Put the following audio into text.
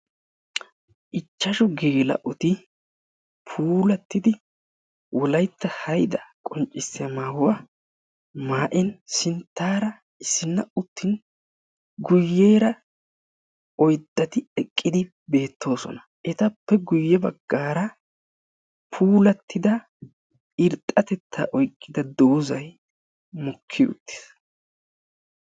ichchashu geela'oti puulattidi wolayitta hayidaa qoccissiya mayuwa mayin sinttaara issinna uttin guyyeera oyddati eqqidi beettoosona. etappe guyya baggaara puulattida irxxatettaa oyiqqida dozzay mokki uttis.